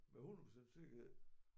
Med 100 procent sikkerhed